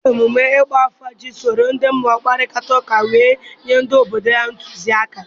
dibia na-eme emume ịgba afa iji soro ndị mmụọ kparịta ụka wee nye ndị obodo ntụzịaka.